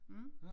Mh